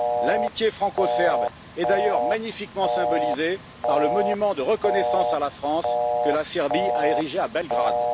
L'amitié franco serbe est d'ailleurs magnifiquement symbolisée par le monument de reconnaissance à la France, que la Serbie a érigé à Belgrade.